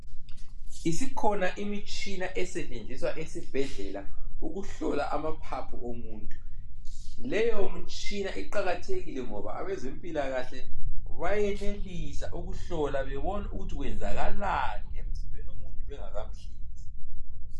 Isikhona imitshina esetshenziswa esibhedlela ukuhlola amaphaphu omuntu leyo mitshina iqakathekile ngoba abezempilakahle bayenelisa ukuhlola bebone ukuthi kwenzakalani emzimbeni womuntu bengakamhlinzi.